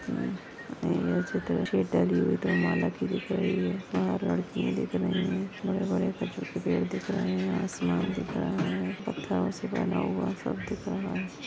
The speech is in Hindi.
दो माला की दिख रही है। बाहर लड़कियाँ दिख रही है। बड़े-बड़े खजूर के पेड़ दिख रहे है। आसमान दिख रहा है। पत्थरों से बना हुआ सब दिख रहा है।